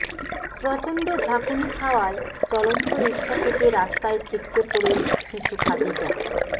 প্রচণ্ড ঝাঁকুনি খাওয়ায় চলন্ত রিকশা থেকে রাস্তায় ছিটকে পড়ে শিশু খাদিজা